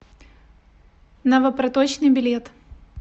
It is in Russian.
новопроточный билет